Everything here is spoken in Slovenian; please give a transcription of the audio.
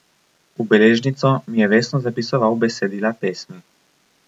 V beležnico mi je vestno zapisoval besedila pesmi.